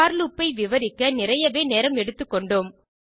போர் loop ஐ விவரிக்க நிறையவே நேரம் எடுத்துக்கொண்டோம்